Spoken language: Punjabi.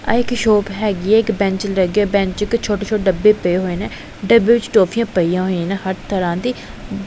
ਆ ਇੱਕ ਸ਼ੋਪ ਹੈਗੀ ਹੈ ਇੱਕ ਬੈਂਚ ਲੱਗਿਆ ਬੈਂਚ ਚ ਛੋਟੇ-ਛੋਟੇ ਡੱਬੇ ਪਏ ਹੋਏ ਨੇ ਡੱਬੇ ਵਿੱਚ ਟੋਫੀਆਂ ਪਈਆਂ ਹੋਈਆਂ ਨੇ ਹਰ ਤਰ੍ਹਾਂ ਦੀ ।